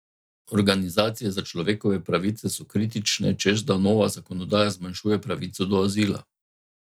Organizacije za človekove pravice so kritične, češ da nova zakonodaja zmanjšuje pravico do azila.